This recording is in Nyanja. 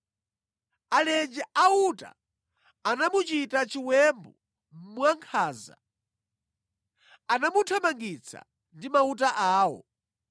Alenje a uta anamuchita chiwembu mwankhanza; anamuthamangitsa ndi mauta awo.